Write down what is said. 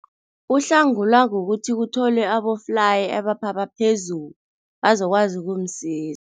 Uhlangulwa kukuthi kutholwe aboflayi abaphapha phezulu, bazokwazi ukumsiza.